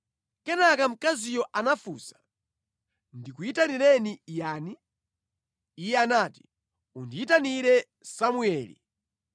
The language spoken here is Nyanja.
Kenaka mkaziyo anafunsa, “Ndikuyitanireni yani?” Iye anati, “Undiyitanire Samueli.”